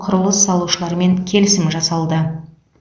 құрылыс салушылармен келісім жасалды